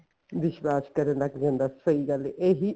ਵਿਸ਼ਵਾਸ਼ ਕਰਣ ਤੱਕ ਹੁੰਦਾ ਸਹੀ ਗੱਲ ਐ ਇਹੀ